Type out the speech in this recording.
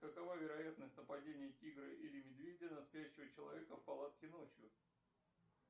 какова вероятность нападения тигра или медведя на спящего человека в палатке ночью